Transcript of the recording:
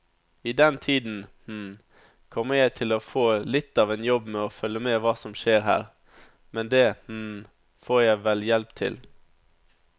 I den tiden kommer jeg til å få litt av en jobb med å følge med hva som skjer her, men det får jeg vel hjelp til.